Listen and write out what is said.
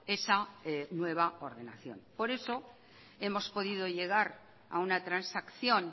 esa nueva ordenación por eso hemos podido llegar a una transacción